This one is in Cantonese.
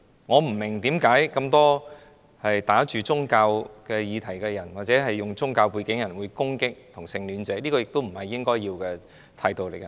我不明白為甚麼這麼多打着宗教議題的人，或有宗教背景的人會攻擊同性戀者，這並非應有的態度。